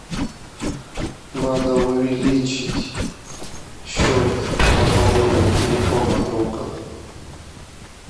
надо увеличить счет пополнения телефона друга